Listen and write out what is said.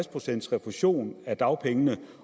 procent refusion af dagpengene